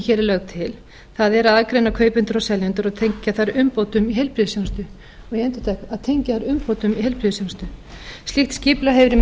hér er lögð til það er að aðgreina kaupendur og seljendur og tengja þær umbótum í heilbrigðisþjónustu og ég endurtek að tengja þær umbótum í heilbrigðisþjónustu slíkt skipulag hefur í